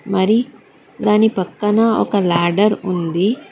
మరి దాని పక్కన ఒక ల్యాడర్ ఉంది.